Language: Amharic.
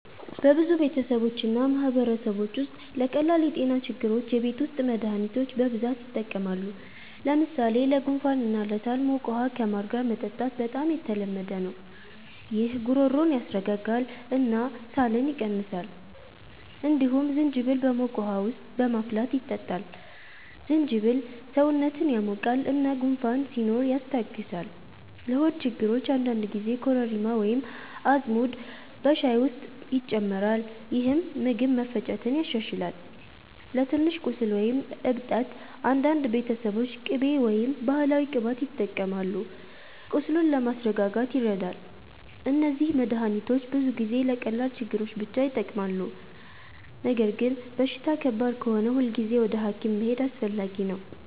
በብዙ ቤተሰቦች እና ማህበረሰቦች ውስጥ ለቀላል የጤና ችግሮች የቤት ውስጥ መድሃኒቶች በብዛት ይጠቀማሉ። ለምሳሌ ለጉንፋን እና ለሳል ሞቅ ውሃ ከማር ጋር መጠጣት በጣም የተለመደ ነው። ይህ ጉሮሮን ያስረጋጋል እና ሳልን ይቀንሳል። እንዲሁም ዝንጅብል በሞቅ ውሃ ውስጥ በማፍላት ይጠጣል። ዝንጅብል ሰውነትን ያሞቃል እና ጉንፋን ሲኖር ያስታግሳል። ለሆድ ችግሮች አንዳንድ ጊዜ ኮረሪማ ወይም አዝሙድ በሻይ ውስጥ ይጨመራል፣ ይህም ምግብ መፈጨትን ያሻሽላል። ለትንሽ ቁስል ወይም እብጠት አንዳንድ ቤተሰቦች ቅቤ ወይም ባህላዊ ቅባት ይጠቀማሉ፣ ቁስሉን ለማስረጋጋት ይረዳል። እነዚህ መድሃኒቶች ብዙ ጊዜ ለቀላል ችግሮች ብቻ ይጠቅማሉ። ነገር ግን በሽታ ከባድ ከሆነ ሁልጊዜ ወደ ሐኪም መሄድ አስፈላጊ ነው።